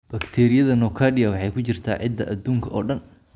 Bakteeriyada nocardia waxay ku jirtaa ciidda adduunka oo dhan.